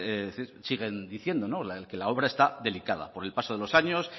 siguen diciendo que la obra está delicada por el paso de los años